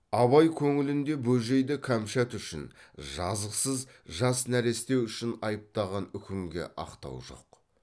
абай көңілінде бөжейді кәмшат үшін жазықсыз жас нәресте үшін айыптаған үкімге ақтау жоқ